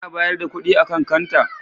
Ana bayar da kuɗi a kan kanta?